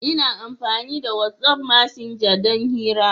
Ina amfani da wat'af messenger don hira.